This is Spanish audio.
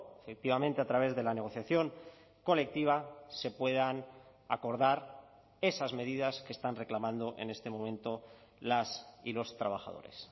efectivamente a través de la negociación colectiva se puedan acordar esas medidas que están reclamando en este momento las y los trabajadores